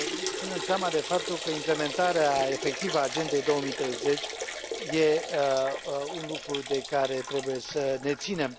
ținând seama de faptul că implementarea efectivă a Agendei 2030 e un lucru de care trebuie să ne ținem.